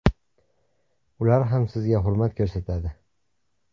Ular ham sizga hurmat ko‘rsatadi.